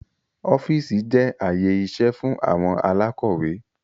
Ọ́fíìsì jẹ́ ààyè iṣẹ́ fún àwọn alákọ́wẹ́